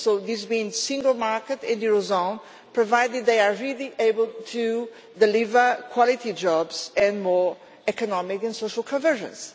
This means the single market and the eurozone, provided they are really able to deliver quality jobs and more economic and social convergence.